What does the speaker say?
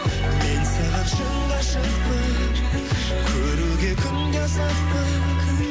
мен саған шын ғашықпын көруге күнде асықпын